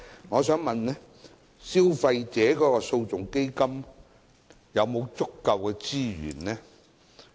我想問基金有否足夠資源？